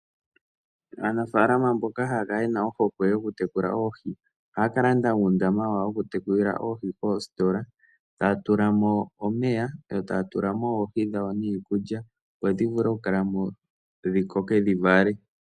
Aanafaalama mboka haya kala yena ohokwe yoku tekula oohi, ohaya ka landa uundama wawo woku tekulila oohi koositola, taya tula mo omeya, yo taya tula mo oohi dhawo niikulya, dho dhi vule oku kala mo, dhi koke, dhi vale.